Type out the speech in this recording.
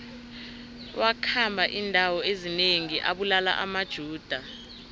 wakhamba indawo ezinengi abulala amajuda